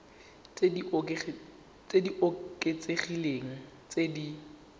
tse di oketsegileng tse di